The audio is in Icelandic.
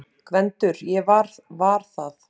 GVENDUR: Ég var það!